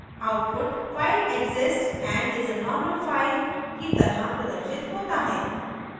output file exists and is a normal file की तरह प्रदर्शित होता है